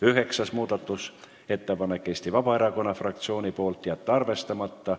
Üheksas muudatusettepanek on Eesti Vabaerakonna fraktsioonilt, ettepanek: jätta arvestamata.